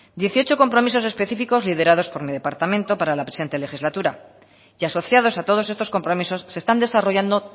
dieciocho compromisos específicos liderados por mi departamento para la presente legislatura y asociados a todos estos compromisos se están desarrollando